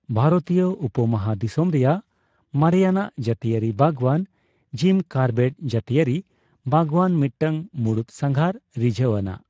ᱵᱷᱟᱨᱚᱛᱤᱭᱟᱹ ᱩᱯᱚᱢᱚᱦᱟᱫᱤᱥᱚᱢ ᱨᱮᱭᱟᱜ ᱢᱟᱨᱮᱟᱱᱟᱜ ᱡᱟᱹᱛᱤᱭᱟᱹᱨᱤ ᱵᱟᱜᱣᱟᱱ ᱡᱤᱢ ᱠᱚᱨᱵᱮᱴ ᱡᱟᱹᱛᱤᱭᱟᱹᱨᱤ ᱵᱟᱜᱣᱟᱱ ᱢᱤᱫᱴᱟᱝ ᱢᱩᱲᱩᱫ ᱥᱟᱸᱜᱷᱟᱨ ᱨᱤᱡᱷᱟᱹᱣ ᱟᱱᱟᱜ ᱾